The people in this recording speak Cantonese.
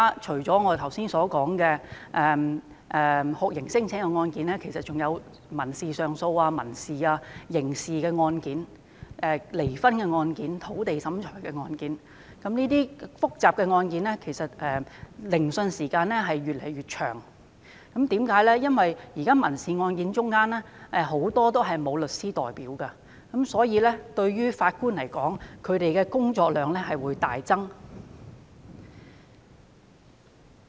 除了我們剛才提到的酷刑聲請個案之外，其實還有民事上訴、刑事、離婚、土地審裁等案件，這些複雜案件的聆訊時間越來越長，因為現時許多民事案件的訴訟人都沒有律師代表，令法官的工作量因而大增。